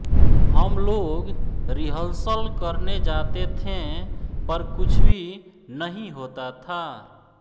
हमलोग रिहर्सल करने जाते थे पर कुछ भी नहीं होता था